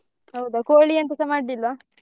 ಹೌದಾ ಕೋಳಿ ಎಂತಸ ಮಾಡ್ಲಿಲ್ವಾ?